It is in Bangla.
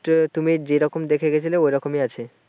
খেলার মাঠ তুমি যে রকম দেখে গেছিলে ঐরকমই আছে ।